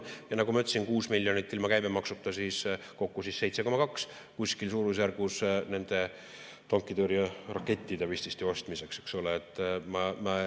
Ja nagu ma ütlesin, 6 miljonit ilma käibemaksuta, kokku suurusjärgus 7,2, vististi nende tankitõrjerakettide ostmiseks.